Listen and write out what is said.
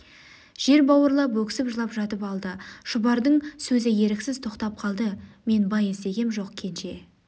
жер бауырлап өксіп жылап жатып алды шұбардың сөзі еріксіз тоқтап қалды мен бай іздегем жоқ кенже